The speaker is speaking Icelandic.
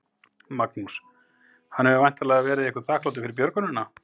Magnús: Hann hefur væntanlega verið ykkur þakklátur fyrir björgunina?